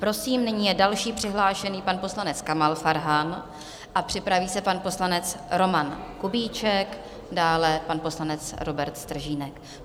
Prosím, nyní je další přihlášený pan poslanec Kamal Farhan a připraví se pan poslanec Roman Kubíček, dále pan poslanec Robert Stržínek.